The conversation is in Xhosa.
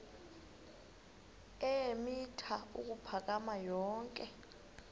eemitha ukuphakama yonke